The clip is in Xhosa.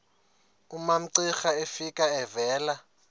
umamcira efika evela